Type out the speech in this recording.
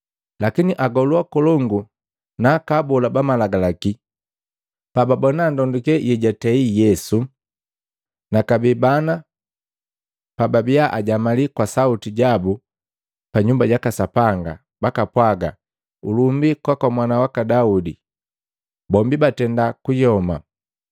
Lakini agolu akolongu na aka abola ba malagalaki pababona ndonduke yejwatei Yesu, na kabee bana pababia ajamali kwa sauti jabu pa Nyumba jaka Sapanga bakapwaga, “Ulumbi kwaka mwana waka Daudi,” Bombi batenda kuyoma.